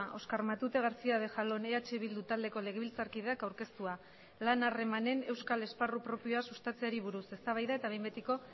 oskar matute garcía de jalón eh bildu taldeko legebiltzarkideak aurkeztua lan harremanen euskal esparru propioa sustatzeari buruz eztabaida eta behin betiko